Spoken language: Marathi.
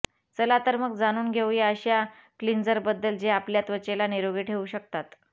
चला तर मग जाणून घेऊ या अशा क्लिन्झर बद्दल जे आपल्या त्वचेला निरोगी ठेवू शकतात